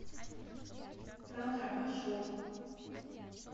татра маршрут